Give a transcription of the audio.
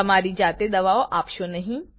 તમારી જાતે દવાઓ આપશો નહીં